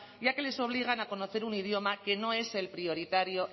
ya que les obligan a conocer un idioma que no es el prioritario